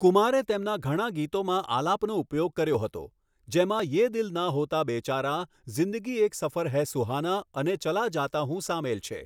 કુમારે તેમના ઘણા ગીતોમાં આલાપનો ઉપયોગ કર્યો હતો, જેમાં 'યે દિલ ના હોતા બેચારા', 'ઝિંદગી એક સફર હૈ સુહાના' અને 'ચલા જાતા હૂં' સામેલ છે.